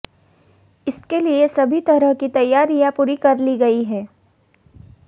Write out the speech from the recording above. इसके लिए सभी तरह की तैयारियां पूरी कर ली गयी हैं